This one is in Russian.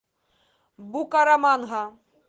букараманга